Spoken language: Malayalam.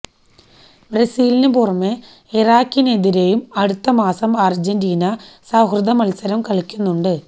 ബ്രസീലിന് പുറമെ ഇറാഖിനെതിരെയും അടുത്തമാസം അർജന്റീന സൌഹൃദ മത്സരം കളിക്കുന്നുണ്ട്